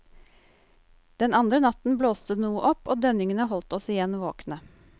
Den andre natten blåste det noe opp og dønningene holdt oss igjen våkne.